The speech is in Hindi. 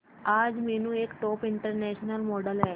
आज मीनू एक टॉप इंटरनेशनल मॉडल है